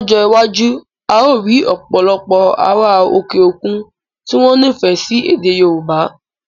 Lọ́jọ́ iwájú, a ó rí òpòlopò ará òkè òkun tí wọ́n nifẹ sí ède Yorùbá